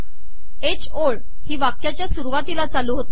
ह ओळ ही वाक्याच्या सुरवातीला चालू होते